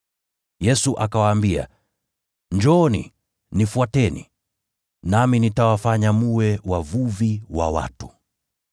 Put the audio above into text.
Yesu akawaambia, “Njooni, nifuateni nami nitawafanya mwe wavuvi wa watu.”